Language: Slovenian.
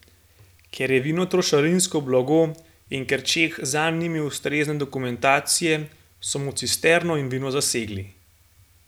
Ker je vino trošarinsko blago in ker Čeh zanj ni imel ustrezne dokumentacije, so mu cisterno in vino zasegli.